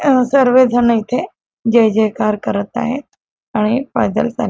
सर्वजण इथे जय जयकार करत आहेत आणि पैदल चालले.